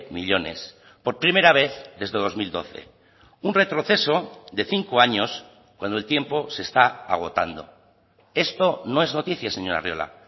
millónes por primera vez desde dos mil doce un retroceso de cinco años cuando el tiempo se está agotando esto no es noticia señor arriola